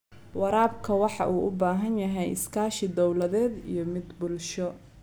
Waraabka waxa uu u baahan yahay iskaashi dawladeed iyo mid bulsho.